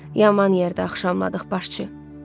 Yaman yerdə axşamladıq başçı.